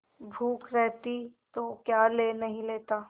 भूख रहती तो क्या ले नहीं लेता